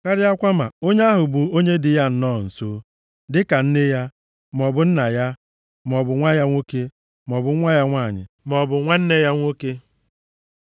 Karịakwa ma onye ahụ bụ onye dị ya nnọọ nso, dịka nne ya, maọbụ nna ya, maọbụ nwa ya nwoke, maọbụ nwa ya nwanyị, maọbụ nwanne ya nwoke,